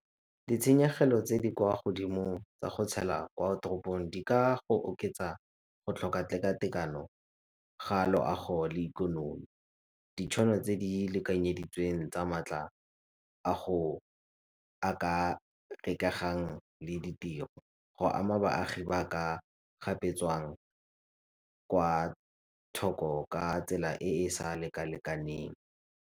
Ditshenyegelo tse di kwa godimo ka go tshela kwa toropong di ka go oketsa go tlhoka tekatekano ga loago le ikonomi, ditšhono tse di lekanyeditsweng tsa maatla a go a ka e ka gang le ditiro. Go ama baagi ba ka gapetswang kwa thoko ka tsela e e sa lekalekaneng.